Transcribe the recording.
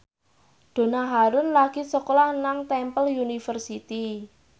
Donna Harun lagi sekolah nang Temple University